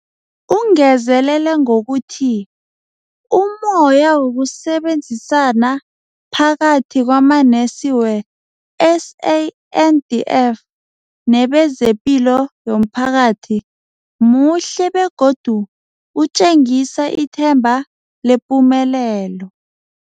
Ungezelele ngokuthi umoya wokusebenzisana phakathi kwamanesi we-SANDF nebe zepilo yomphakathi muhle begodu utjengisa ithemba lepumelelo.